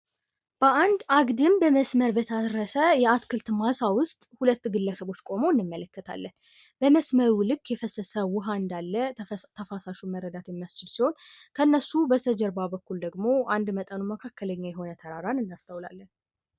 በአንድ አግድም በታረሰ የአትክልት ማሳ ዉስጥ ሁለት ግለሰቦች ቁመው እንመለከታለን። በመስመሩ ልክ የፈሰሰ ዉሃ እንዳለ ከተፋሳሹ መረዳት የሚያስችል ሲሆን ከነሱ በስተጀርባ በኩል ደግሞ በመጠኑ መካከለኛ የሆነ ተራራን እናስታውይላለን።